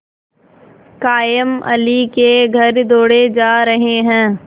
कायमअली के घर दौड़े जा रहे हैं